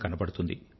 కనబడుతుంది